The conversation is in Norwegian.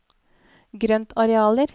grøntarealer